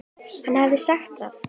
Hann hafði sagt það.